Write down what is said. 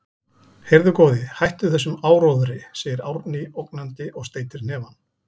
Heyrðu, góði, hættu þessum áróðri, segir Árný ógnandi og steytir hnefann.